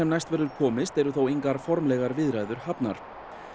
næst verður komist eru engar formlegar viðræður hafnar